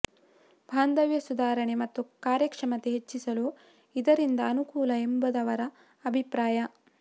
ಬಾಂಧವ್ಯ ಸುಧಾರಣೆ ಮತ್ತು ಕಾರ್ಯಕ್ಷಮತೆ ಹೆಚ್ಚಿಸಲು ಇದರಿಂದ ಅನುಕೂಲ ಎಂಬುದವರ ಅಭಿಪ್ರಾಯ